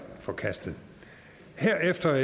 forkastet herefter